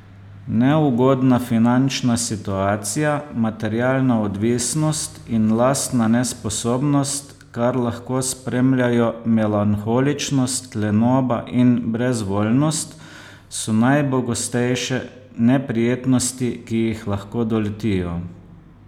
Neugodna finančna situacija, materialna odvisnost in lastna nesposobnost, kar lahko spremljajo melanholičnost, lenoba in brezvoljnost, so najpogostejše neprijetnosti, ki jih lahko doletijo.